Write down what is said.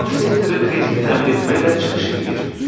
Bank sektoru krediti təmin etməklə çıxış eləyir.